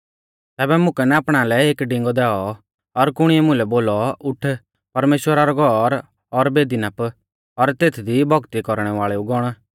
तैबै मुकै नापणा लै एक डिंगौ दैऔ और कुणिऐ मुलै बोलौ उठ परमेश्‍वरा रौ घौर और बेदी नाप और तेथदी भौक्ती कौरणै वाल़ेऊ गौण